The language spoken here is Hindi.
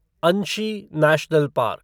Anshi national park